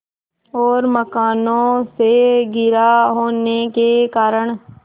और मकानों से घिरा होने के कारण